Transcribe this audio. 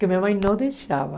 Que minha mãe não deixava.